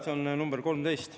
See on äkki nr 13.